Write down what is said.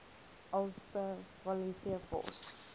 ulster volunteer force